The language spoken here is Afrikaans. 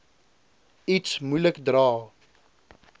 iets moeilik dra